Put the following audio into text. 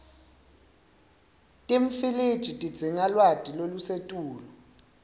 timfiliji tidzinga lwati lolusetulu